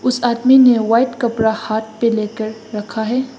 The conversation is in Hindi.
इस आदमी ने वाइट कपड़ा हाथ पर लेकर रखा है।